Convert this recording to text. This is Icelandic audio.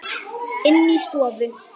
Inni í stofu.